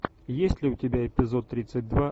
есть ли у тебя эпизод тридцать два